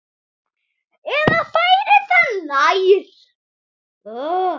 Eða færir það nær.